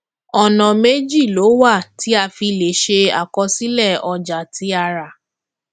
ọnà méjì ló wà tí a fi lè ṣe àkọsílẹ ọjà tí a rà